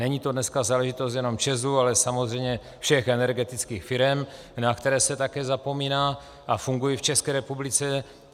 Není to dneska záležitost jenom ČEZu, ale samozřejmě všech energetických firem, na které se také zapomíná, a fungují v České republice.